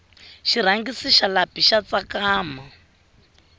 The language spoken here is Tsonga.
xirhangisi xa lapi xa tsakama